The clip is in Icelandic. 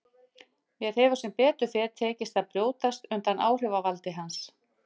Mér hefur sem betur fer tekist að brjótast undan áhrifavaldi hans.